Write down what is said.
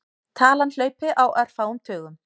Talan hlaupi á örfáum tugum.